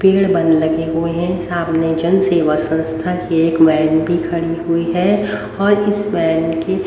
पेड़ बन लगे हुए हैं सामने जन सेवा संस्था की एक वैन भी खड़ी हुई है और इस वैन के--